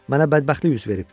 Mənə bədbəxtlik üz verib,